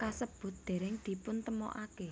kasebut dereng dipuntemokake